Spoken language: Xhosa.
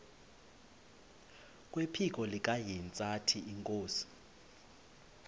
kwephiko likahintsathi inkosi